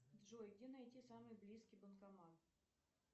джой где найти самый близкий банкомат